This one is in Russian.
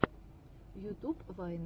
ютуб вайны